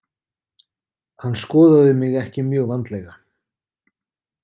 Hann skoðaði mig ekki mjög vandlega.